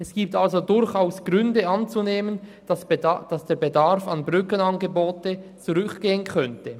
Es gibt somit durchaus Gründe, anzunehmen, dass der Bedarf an Brückenangeboten zurückgehen könnte.